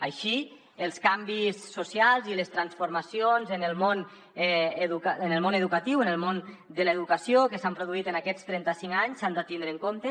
així els canvis socials i les transformacions en el món educatiu en el món de l’educació que s’han produït en aquests trenta cinc anys s’han de tindre en compte